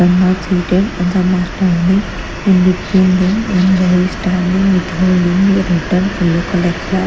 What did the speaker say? Some are seated and some are standing in between them one boy is standing with holding a red and yellow color flag.